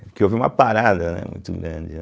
Porque houve uma parada, né, muito grande, né?